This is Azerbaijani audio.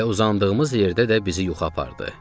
Elə uzandığımız yerdə də bizi yuxu apardı.